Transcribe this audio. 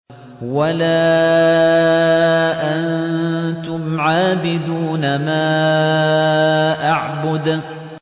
وَلَا أَنتُمْ عَابِدُونَ مَا أَعْبُدُ